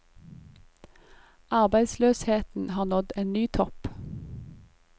Arbeidsløsheten har nådd en ny topp.